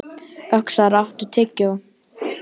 Öxar, áttu tyggjó?